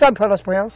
Sabe falar espanhol?